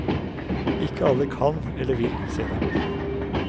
Ikke alle kan eller vil se dem.